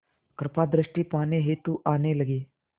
कृपा दृष्टि पाने हेतु आने लगे